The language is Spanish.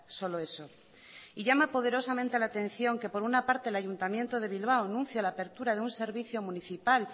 solo eso y llama poderosamente la atención que por una parte el ayuntamiento de bilbao anuncia la apertura de un servicio municipal